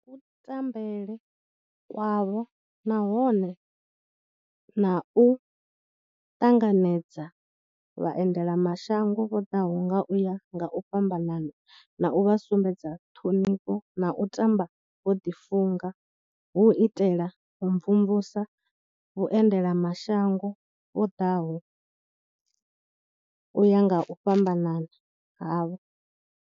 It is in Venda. Ndi ku tambele kwavho nahone na u ṱanganedza vhaendela mashango vho ḓaho nga u ya nga u fhambanana na u vha sumbedza ṱhonifho na u tamba vho ḓifunga hu u itela u mvumvusa vhuendela mashango vho ḓaho u ya nga u fhambanana havho.